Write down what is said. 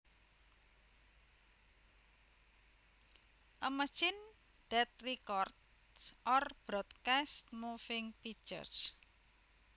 A machine that records or broadcasts moving pictures